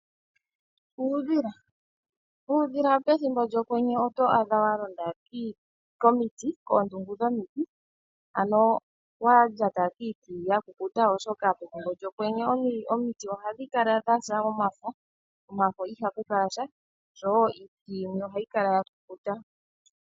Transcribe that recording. Uudhila Uudhila pethimbo lyokwenye oto adha wa londa komiti kondungu yomiti, wa lyata kiiti ya kukuta, oshoka pethimbo lyokwenye omiti ohadhi kala dha yagumuka omafo niiti yimwe ohayi kala ya kukutu.